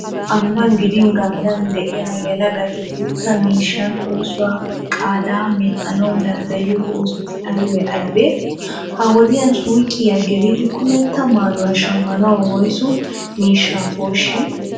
Ambban gidin ganddan de'iya yelagati gutta miishshan oosuwa qaadaa medhdhanawu danddayiyo oosoti aybee aybee? Ha"i wodiyan suuqiya gelidi kumetta maayuwa shammanawu woysu miishshaa koshshii?